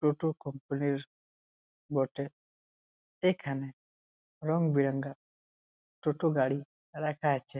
টোটো কোম্পানির -র বটে। এখানে রং বেরঙের টোটো গাড়ি রাখা আছে।